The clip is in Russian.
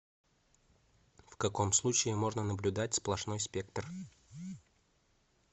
в каком случае можно наблюдать сплошной спектр